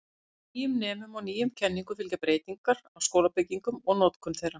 Nýjum nemum og nýjum kenningum fylgja breytingar á skólabyggingum og notkun þeirra.